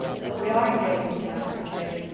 We are engaging with the United States.